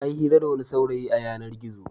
Ta yi hira da wani saurayi a yanar-gizo.